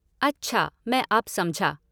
अच्छा, मैं अब समझा।